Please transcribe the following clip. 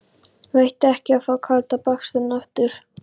Veitti ekki af að fá kalda baksturinn aftur.